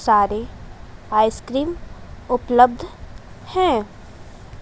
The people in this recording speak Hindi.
सारे आइसक्रीम उपलब्ध है।